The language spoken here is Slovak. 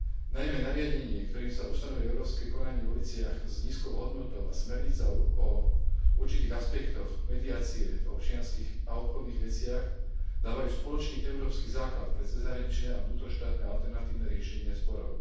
Najmä nariadenie, ktorým sa ustanovuje európske konanie vo veciach s nízkou hodnotou, a smernica o určitých aspektoch mediácie v občianskych a obchodných veciach dávajú spoločný európsky základ pre cezhraničné a vnútroštátne alternatívne riešenia sporov.